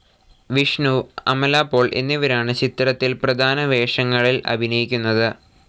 വിഷ്ണു, അമലാ പോൾ എന്നിവരാണ് ചിത്രത്തിൽ പ്രധാന വേഷങ്ങളിൽ അഭിനയിക്കുന്നത്.